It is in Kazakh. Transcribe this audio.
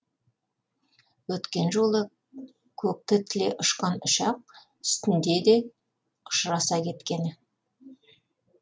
өткен жолы көкті тіле ұшқан ұшақ үстінде де ұшыраса кеткені